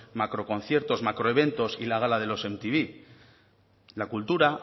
macroconciertos macroeventos y la gala de los mtv la cultura